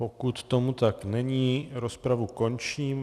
Pokud tomu tak není, rozpravu končím.